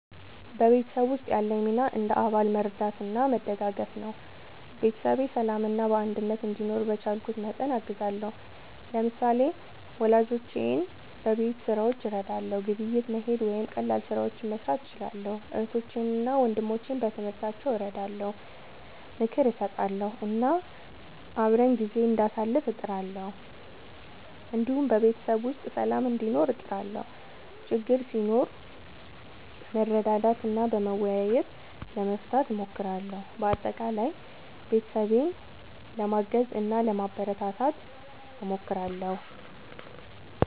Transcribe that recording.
በቤተሰብ ውስጥ ያለኝ ሚና እንደ አባል መርዳትና መደጋገፍ ነው። ቤተሰቤ በሰላምና በአንድነት እንዲኖር በቻልኩት መጠን አግዛለሁ። ለምሳሌ፣ ወላጆቼን በቤት ሥራዎች እረዳለሁ፣ ግብይት መሄድ ወይም ቀላል ስራዎችን መስራት እችላለሁ። እህቶቼንና ወንድሞቼን በትምህርታቸው እረዳለሁ፣ ምክር እሰጣለሁ እና አብረን ጊዜ እንዳሳልፍ እጥራለሁ። እንዲሁም በቤተሰብ ውስጥ ሰላም እንዲኖር እጥራለሁ፣ ችግር ሲኖር በመረዳዳት እና በመወያየት ለመፍታት እሞክራለሁ። በአጠቃላይ ቤተሰቤን ለማገዝ እና ለማበረታታት እሞክራለሁ።